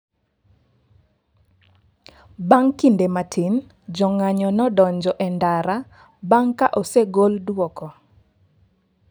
Bang' kinde matin, jong'anyo ne odonjo e ndara bang' ka osegol dwoko.